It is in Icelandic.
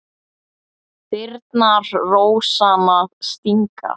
Þyrnar rósanna stinga.